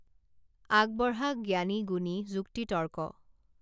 আগবঢ়া জ্ঞানী গুণী যুক্তিতৰ্ক